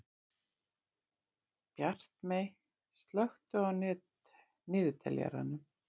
Bjartmey, slökktu á niðurteljaranum.